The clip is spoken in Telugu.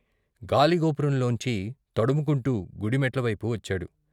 గాలిగోపురంలోంచి తడుముకుంటూ గుడి మెట్లవైపు వచ్చాడు.